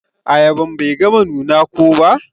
Ayaban Bai gama nuna ko ba.